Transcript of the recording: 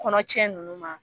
Kɔnɔ cɛ nunnu ma